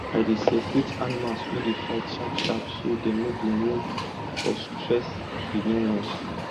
i dey separate animals wey dey fight sharp sharp so dem no go wound or stress the new ones